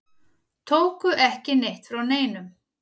Tóku ekki neitt frá neinum.